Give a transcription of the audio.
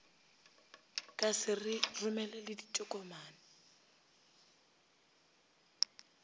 ka se re romele ditokomane